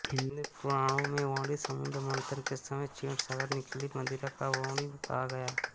हिन्दू पुराणोमें वर्णित समुद्र मन्थन के समय क्षीरसागर निकली मदिरा को वारुणी कहा गया